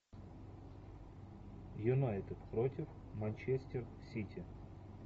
юнайтед против манчестер сити